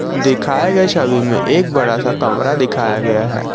दिखाए गए छवि में एक बड़ा सा कमरा दिखाया गया है।